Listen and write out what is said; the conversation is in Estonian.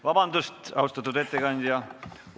Vabandust, austatud ettekandja!